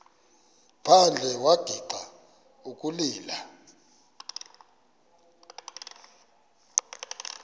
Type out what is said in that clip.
phandle wagixa ukulila